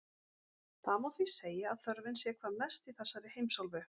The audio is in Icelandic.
Það má því segja að þörfin sé hvað mest í þessari heimsálfu.